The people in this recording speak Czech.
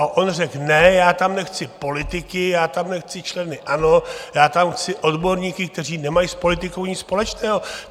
A on řekl: Ne, já tam nechci politiky, já tam nechci členy ANO, já tam chci odborníky, kteří nemají s politikou nic společného!